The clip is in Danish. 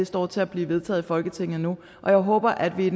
står til at blive vedtaget i folketinget nu og jeg håber at vi